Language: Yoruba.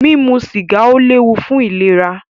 Mímu sìgá ó léwu fún ìlera.